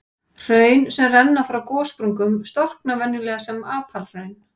Hraun sem renna frá gossprungum storkna venjulega sem apalhraun.